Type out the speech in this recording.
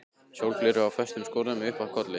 Sólgleraugu í föstum skorðum uppi á kollinum.